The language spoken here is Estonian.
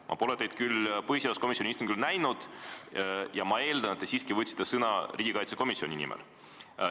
Ma pole teid küll põhiseaduskomisjoni istungil näinud, ma eeldan, et te siiski võtsite sõna riigikaitsekomisjoni nimel.